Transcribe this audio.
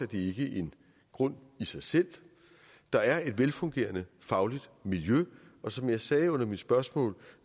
det ikke en grund i sig selv der er et velfungerende fagligt miljø og som jeg sagde under mit spørgsmål